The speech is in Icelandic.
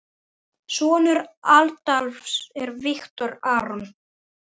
Sonur Adolfs er Viktor Aron.